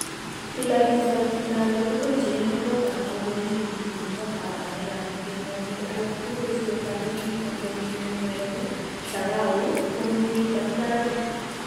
Til ak iswach timdo age tugul cheyieme kotab ngokenik yemiten kootab areek ak itiim kong'ik alak tugul sikotoret niton koriip en murek, chagau, bungbungit ak ndarok.